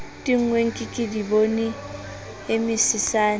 tennweng ke kedibone e mesesane